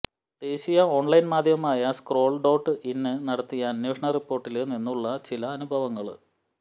ദേശീയ ഓണ്ലൈന് മാധ്യമമായ scroll dot in നടത്തിയ അന്വേഷണ റിപോര്ട്ടില് നിന്നുള്ള ചില അനുഭവങ്ങള്